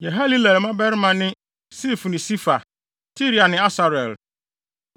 Yehalelel mmabarima ne Sif ne Sifa, Tiria ne Asarel.